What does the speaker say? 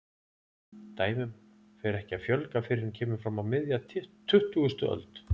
Dæmum fer ekki að fjölga fyrr en kemur fram á miðja tuttugustu öld.